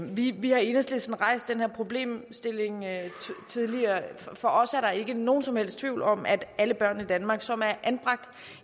vi har i enhedslisten rejst den her problemstilling tidligere for os er der ikke nogen som helst tvivl om at alle børn i danmark som er anbragt